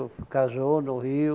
casou no Rio.